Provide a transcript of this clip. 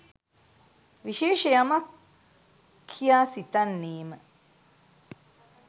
විශේෂ යමක් කියා සිතන්නේ ම